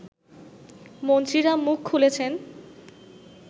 মন্ত্রীরা মুখ খুলেছেন